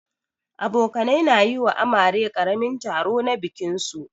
Abokanai na yi wa amare karamin taro na bikin su.